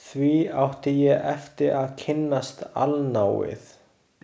Því átti ég eftir að kynnast allnáið.